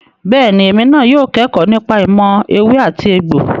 Bẹ́ẹ̀ni, èmi náà yóò kẹ́kọ̀ọ́ nípa ìmọ̀ ewé àti egbò.